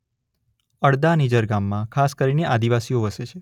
અડદા નિઝર ગામમાં ખાસ કરીને આદિવાસીઓ વસે છે.